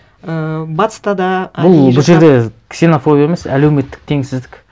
ыыы батыста да әдейі бұл бұл жерде ксенофобия емес әлеуметтік теңсіздік